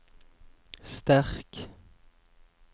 sterk